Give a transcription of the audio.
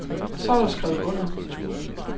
Så er der skrevet under.